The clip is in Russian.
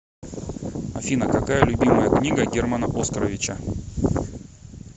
афина какая любимая книга германа оскаровича